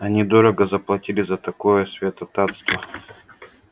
они дорого заплатили за такое святотатство